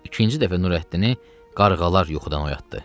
İkinci dəfə Nurəddini qarğalar yuxudan oyatdı.